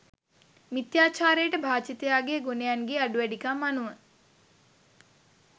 මිථ්‍යාචාරයට භාජිතයා ගේ ගුණයන් ගේ අඩුවැඩිකම් අනුව